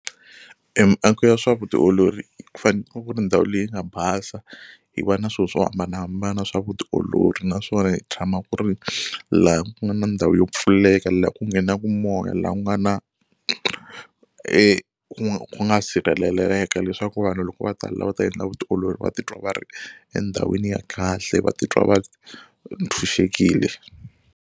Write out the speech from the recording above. E miako ya swa vutiolori ku faneke ku ri ndhawu leyi nga basa yi va na swilo swo hambanahambana swa vutiolori naswona yi tshama ku ri laha ku nga na ndhawu yo pfuleka, laha ku nghenaku moya, laha ku nga na e ku nga sirheleleka leswaku vanhu loko va ta la va ta endla vutiolori va titwa va ri endhawini ya kahle va titwa va tshunxekile.